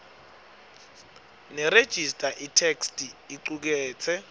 nerejista itheksthi icuketse